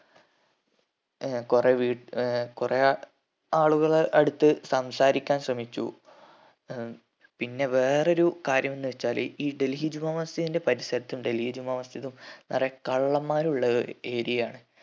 ഏർ കൊറേ വി ഏർ കൊറേ ആളുകളെ അടുത്ത് സംസാരിക്കാൻ ശ്രമിച്ചു ഏർ പിന്നെ വേറെ ഒരു കാര്യം എന്ന് വെച്ചാല് ഈ ഡൽഹിജുമാ മസ്ജിദിന്റെ പരിസരത്തും ഡൽഹി ജുമാ മസ്ജിദും കൊറേ കള്ളമ്മാർ ഉള്ള ഏർ area ആണ്